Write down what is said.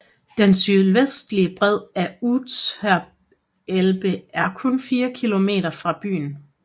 Den sydvestlige bred af Unterelbe er kun fire kilometer fra byen